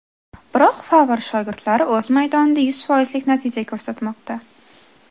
Biroq Favr shogirdlari o‘z maydonida yuz foizlik natija ko‘rsatmoqda.